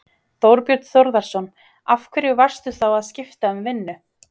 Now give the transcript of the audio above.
Þorbjörn Þórðarson: Af hverju varstu þá að skipta um vinnu?